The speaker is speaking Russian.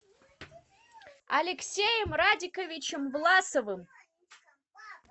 алексеем радиковичем власовым